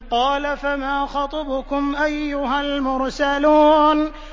۞ قَالَ فَمَا خَطْبُكُمْ أَيُّهَا الْمُرْسَلُونَ